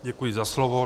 Děkuji za slovo.